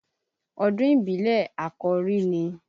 Ọdún ìbílẹ̀ Àkòrí ni.